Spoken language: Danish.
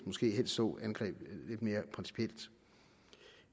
måske helst så angrebet lidt mere principielt